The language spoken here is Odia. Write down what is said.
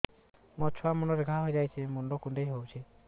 ମୋ ଛୁଆ ମୁଣ୍ଡରେ ଘାଆ ହୋଇଯାଇଛି ମୁଣ୍ଡ କୁଣ୍ଡେଇ ହେଉଛି